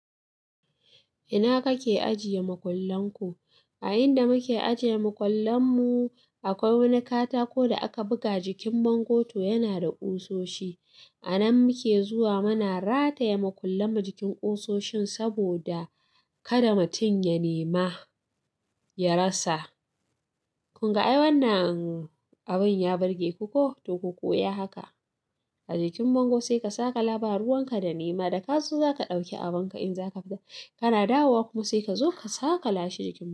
Ina kake ajiye makullan ku? A inda muke ajiye makullan mu akwai wani katako da aka buga jikin bango to yana da ƙusoshi. A nan muke zuwa muna rataye makullan mu jikin ƙusoshin saboda kada mutum ya nema, ya rasa. Kun ga ai wannan abin ya burge ku ko, to ku koya haka. A jikin bango sai ka saƙala ba, ruwan ka da nema da kaso za ka ɗauki abunka in zaka fita kana dawowa kuma sai ka zo ka saƙa la shi jikin bango.